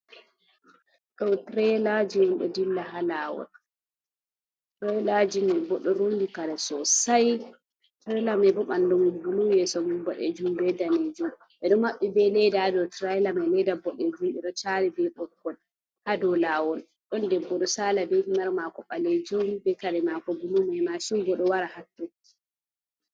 Ɗo tirailaji on ɗo dilla ha lawol, tirailaji me bo do rundi kare sosai traila ma ɓe bandu mum bulu yeso mum boɗejum be danejum, ɓeɗo maɓɓi be laida ha dou tiraila mai laida bodejum ɓeɗo tari ɓe boggol ha do lawol, ɗon debbo do sala be himar mako ɓalejum be kare mako bulu mai mashin bo do wara hatto.